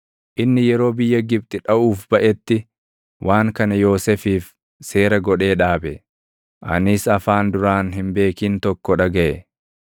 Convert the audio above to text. Inni yeroo biyya Gibxi dhaʼuuf baʼetti, waan kana Yoosefiif seera godhee dhaabe. Anis afaan duraan hin beekin tokko dhagaʼe.